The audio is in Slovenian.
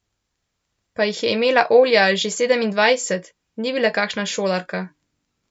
Pa jih je imela Olja že sedemindvajset, ni bila kakšna šolarka.